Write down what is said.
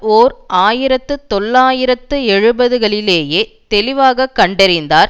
ஓர் ஆயிரத்து தொள்ளாயிரத்து எழுபதுகளிலேயே தெளிவாக கண்டிருந்தார்